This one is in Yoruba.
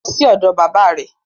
Lọ sí ọ̀dọ̀ bàbá rẹ